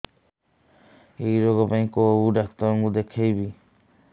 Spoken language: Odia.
ଏଇ ରୋଗ ପାଇଁ କଉ ଡ଼ାକ୍ତର ଙ୍କୁ ଦେଖେଇବି